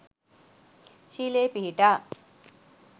ශීලයේ පිහිටා